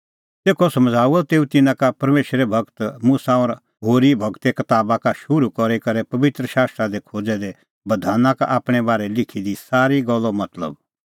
तेखअ समझ़ाऊअ तेऊ तिन्नां का परमेशरे गूर मुसा और होरी गूरे कताबा का शुरू करी करै पबित्र शास्त्रा दी खोज़ै दै बधाना का आपणैं बारै लिखी दी सारी गल्लो मतलब